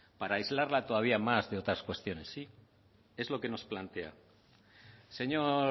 para aislarla todavía más de otras cuestiones es lo que nos plantea señor